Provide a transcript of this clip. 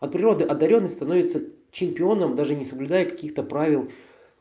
от природы одарённый становится чемпионом даже не соблюдая каких-то правил